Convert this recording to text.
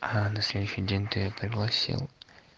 ладно следующий день ты пригласил